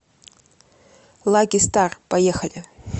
лаки стар поехали